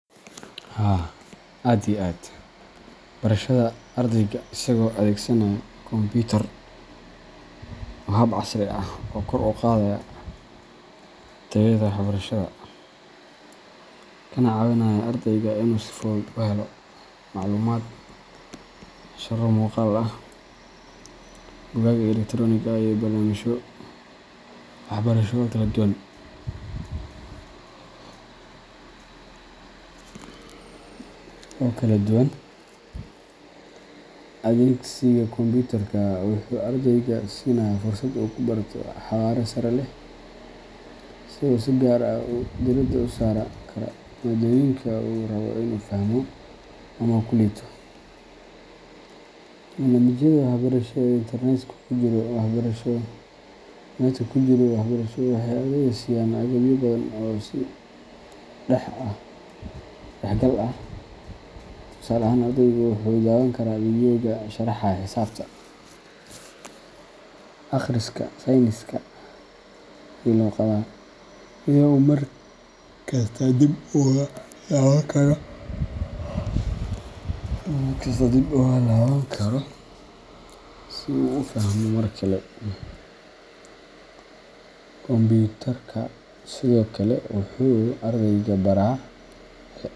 Haa aad iyo aad barashada ardayga isagoo adeegsanaya kombiyuutar waa hab casri ah oo kor u qaadaya tayada waxbarashada, kana caawinaya ardayga inuu si fudud u helo macluumaad, casharro muuqaal ah, buugaag elektaroonik ah, iyo barnaamijyo waxbarasho oo kala duwan. Adeegsiga kombiyuutarka wuxuu ardayga siinayaa fursad uu ku barto xawaare sare leh, isagoo si gaar ah diiradda u saari kara maadooyinka uu rabo inuu fahmo ama ku liito. Barnaamijyada waxbarasho ee internet-ka ku jira waxbarasho waxay ardayda siiyaan agabyo badan oo is-dhexgal leh. Tusaale ahaan, ardaygu wuxuu daawan karaa fiidyowyo sharaxaya xisaabta, akhriska, sayniska, iyo luqadaha, iyadoo uu markasta dib ugu laaban karo si uu u fahmo mar kale. Kombiyuutarka sidoo kale wuxuu ardayga baraa xirfado.